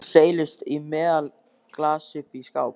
Hún seilist í meðalaglas uppi í skáp.